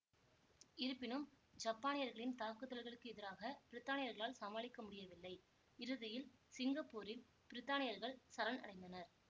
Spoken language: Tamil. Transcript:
இருப்பினும் ஜப்பானியர்களின் தாக்குதல்களுக்கு எதிராக பிரித்தானியர்களால் சமாளிக்க முடியவில்லை இறுதியில் சிங்கப்பூரில் பிரித்தானியர்கள் சரண் அடைந்தனர்